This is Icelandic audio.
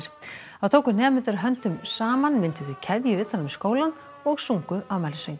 þá tóku nemendur höndum saman mynduðu keðju utan um skólann og sungu afmælissönginn